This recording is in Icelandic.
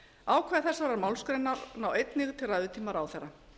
ákvæði þessarar málsgreinar ná einnig til ræðutíma ráðherra